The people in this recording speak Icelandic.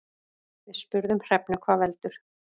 Við spurðum Hrefnu hvað veldur.